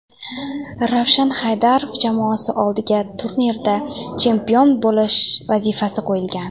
Ravshan Haydarov jamoasi oldiga turnirda chempion bo‘lish vazifasi qo‘yilgan.